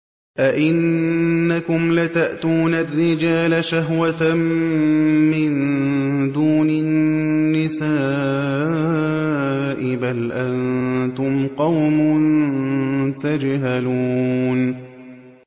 أَئِنَّكُمْ لَتَأْتُونَ الرِّجَالَ شَهْوَةً مِّن دُونِ النِّسَاءِ ۚ بَلْ أَنتُمْ قَوْمٌ تَجْهَلُونَ